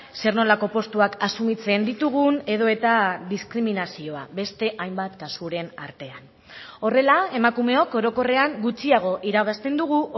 zer nolako postuak asumitzen ditugun edota diskriminazioa beste hainbat kasuren artean horrela emakumeok orokorrean gutxiago irabazten dugu